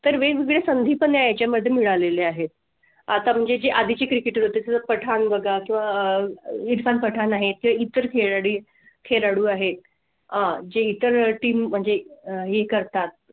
तर वेगळे संधी पण त्याच्या मध्ये मिळालेले आहेत . आता म्हणजे आधीच Cricketer होती तर पठाण बघा किंवा अह इरफान पठाण आहे ते इतर खेळी खेळाडू आहेत जे अं इतर team म्हणजे आह हे करतात